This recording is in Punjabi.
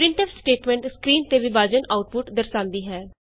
ਪ੍ਰਿੰਟਫ ਸਟੇਟਮੈਂਟ ਸਕਰੀਨ ਤੇ ਵਿਭਾਜਨ ਆਉਟਪੁਟ ਦਰਸਾਂਦੀ ਹੈ